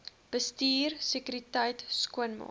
bestuur sekuriteit skoonmaak